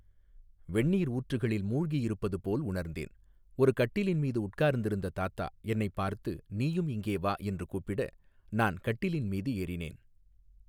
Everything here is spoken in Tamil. வெந்நீர் ஊற்றுகளில் மூழ்கி இருப்பது போல் உணர்ந்தேன் ஒரு கட்டிலின் மீது உட்கார்ந்திருந்த தாத்தா என்னைப் பார்த்து நீயும் இங்கே வா என்று கூப்பிட நான் கட்டிலின் மீது ஏறினேன்.